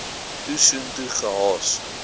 toe soontoe gehaas